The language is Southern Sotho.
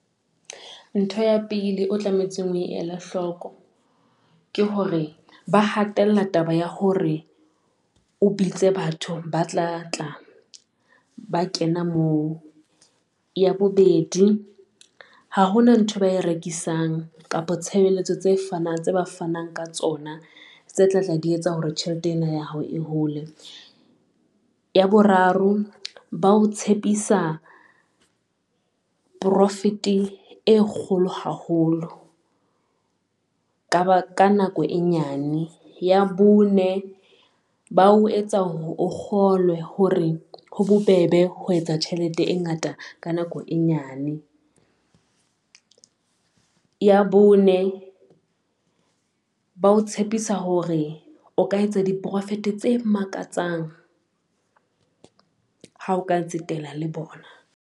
Ntho ya pele o tlametse o e ele hloko ke hore ba hatella taba ya hore o bitse batho ba tla tla ba kena moo. Ya bobedi ha hona nthwe ba e rekisang kapa tshebeletso tse ba fanang ka tsona, tse tla tla di etsa hore tjhelete ena ya hao e hole. Ya boraro ba o tshepisa profit e kgolo haholo ka nako e nyane. Ya bone ba o etsa hore o kgolwe hore ho bo be be ho etsa tjhelete e ngata ka nako e nyane. Ya bone ba o tshepisa hore o ka etsa di-profit tse makatsang ha o ka tsetela le bona.